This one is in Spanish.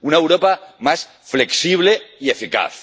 una Europa más flexible y eficaz